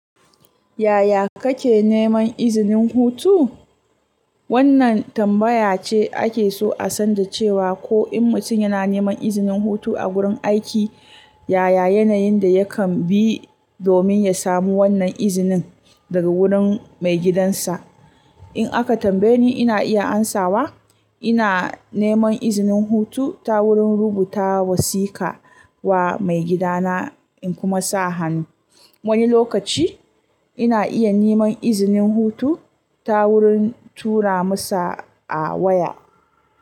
Yaya kake neman izinin hutu? Wannan tambaya ce ake so a san da cewa ko in mutum yana neman izinin hutu a gurin aiki, yaya yanayin da yakan bi domin ya samu wannan izinin daga wurin maigidansa. In aka tambaye ni, ina iya amsawa. Ina neman izinin hutu ta wurin rubuta wasika wa maigidana in kuma sa hannu. Wani lokaci ina iya neman izinin hutu ta wurin tura masa a waya.